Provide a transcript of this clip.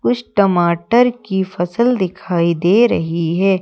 कुछ टमाटर की फसल दिखाई दे रही हैं।